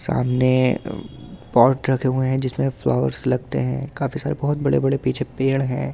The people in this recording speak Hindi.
सामने अ पॉट रखे हुए हैं जिसमें फ्लावर्स लगते हैं काफी सारे बहुत बड़े-बड़े पीछे पेड़ हैं।